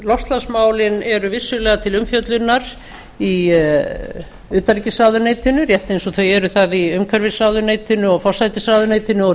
loftslagsmálin eru vissulega til umfjöllunar í utanríkisráðuneytinu rétt eins og þau eru þar í umhverfisráðuneytinu og forsætisráðuneytinu og